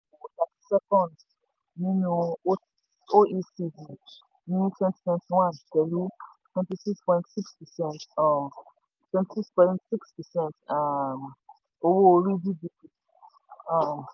thirty second nínú oecd ní twenty twenty one pẹ̀lú twenty six point six percent um twenty six point six percent um owó orí/gdp. um